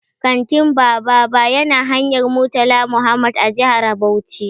Kantin Bababa ya na hanyar Murtala Mohammed a jihar Bauchi.